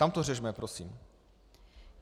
Tam to řešme, prosím!